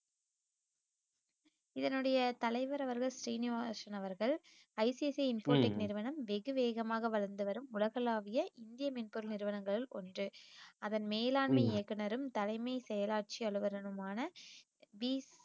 இதனுடைய தலைவர் அவர்கள் ஸ்ரீனிவாசன் அவர்கள் ஐசிஐசிஐ இன்ஃபோடெக் நிறுவனம் வெகு வேகமாக வளர்ந்து வரும் உலகளாவிய இந்திய மென்பொருள் நிறுவனங்களில் ஒன்று அதன் மேலாண்மை இயக்குனரும் தலைமை செயலாட்சி அலுவலருமான B